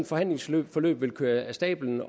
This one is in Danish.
forhandlingsforløb vil køre af stabelen